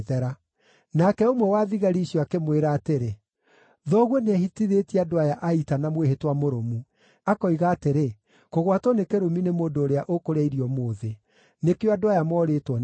Nake ũmwe wa thigari icio akĩmwĩra atĩrĩ, “Thoguo nĩehĩtithĩtie andũ aya a ita na mwĩhĩtwa mũrũmu, akoiga atĩrĩ, ‘Kũgwatwo nĩ kĩrumi nĩ mũndũ ũrĩa ũkũrĩa irio ũmũthĩ!’ Nĩkĩo andũ aya moorĩtwo nĩ hinya.”